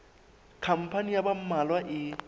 khampani ya ba mmalwa e